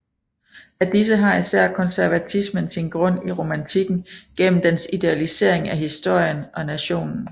Af disse har især konservatismen sin grund i romantikken gennem dens idealisering af historien og nationen